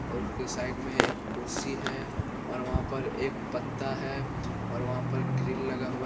और उसके साइड में एक कुर्सी है और वहां पर एक पत्ता है और वहां पर ग्रिल लगा हुआ --